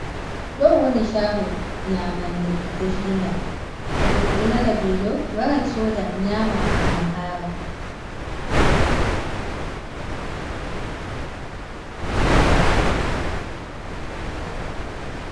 Ɗo wani chago nyamande definga, to goɗɗo nani velo waran soda nyama gam hara.